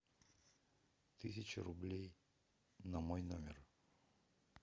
тысяча рублей на мой номер